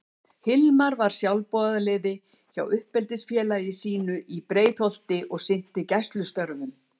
Hilmar var sjálfboðaliði hjá uppeldisfélagi sínu í Breiðholti og sinnti gæslustörfum.